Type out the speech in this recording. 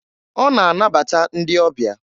Ọ na-anabata ndị ọbịa.